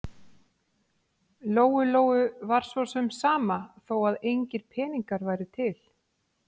Lóu-Lóu var svo sem sama þó að engir peningar væru til.